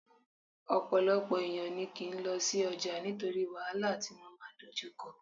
Ọ̀pọ̀lọpọ̀ èèyàn ní kò kín lọ sí ọjà nítorí wàhálà tí wọ́n máa dojú kọ